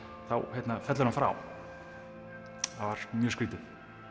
þá fellur hann frá það var mjög skrýtið